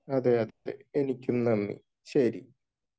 അതെയതെ, ശ്രുതിക്കും നന്ദി ശരി.